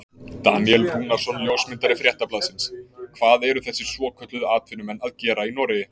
Daníel Rúnarsson ljósmyndari Fréttablaðsins: Hvað eru þessir svokölluðu atvinnumenn að gera í Noregi?